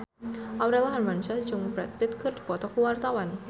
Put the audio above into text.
Aurel Hermansyah jeung Brad Pitt keur dipoto ku wartawan